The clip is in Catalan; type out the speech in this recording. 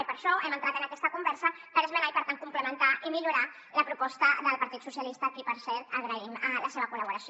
i per això hem entrat en aquesta conversa per esmenar i per tant complementar i millorar la proposta del partit socialistes a qui per cert agraïm la seva col·laboració